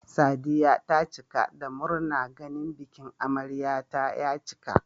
Sadiya ta cika da murna ganin bikin amaryar ta ya cika